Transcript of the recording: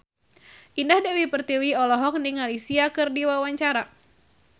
Indah Dewi Pertiwi olohok ningali Sia keur diwawancara